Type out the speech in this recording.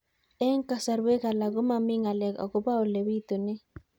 Eng' kasarwek alak ko mami ng'alek akopo ole pitunee